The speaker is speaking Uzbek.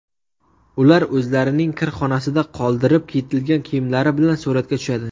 Ular o‘zlarining kirxonasida qoldirib ketilgan kiyimlar bilan suratga tushadi.